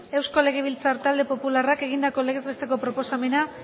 euskal legebiltzar talde popularrak egindako legez besteko proposamena